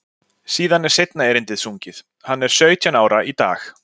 Síðan er seinna erindið sungið, Hann er sautján ára í dag.